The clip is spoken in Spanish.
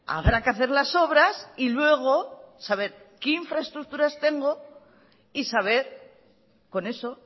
habrá que hacer las obras y luego saber qué infraestructuras tengo y saber con eso